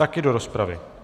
Také do rozpravy?